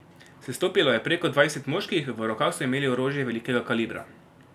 Sestopilo je preko dvajset moških, v rokah so imeli orožje velikega kalibra.